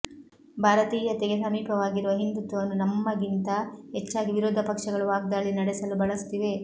ಭಾರತೀಯತೆಗೆ ಸಮೀಪವಾಗಿರುವ ಹಿಂದುತ್ವವನ್ನು ನಮ್ಮಗಿಂತ ಹೆಚ್ಚಾಗಿ ವಿರೋಧ ಪಕ್ಷಗಳು ವಾಗ್ದಾಳಿ ನಡೆಸಲು ಬಳಸುತ್ತಿವೆ